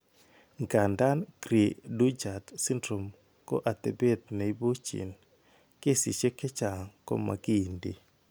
Ng'andan cri du chat syndrome ko atepet ne ipu gene, kesiisiek chechang' ko makiinti.